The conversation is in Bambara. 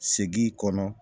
Segin kɔnɔ